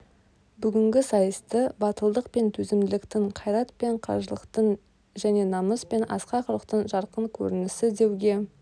бүгінгі сайысты батылдық пен төзімділіктің қайрат пен қажырлықтың және намыс пен асқақ рухтың жарқын көрінісі деуге